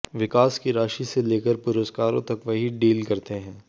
विकास की राशि से लेकर पुरस्कारों तक वही डील करते हैं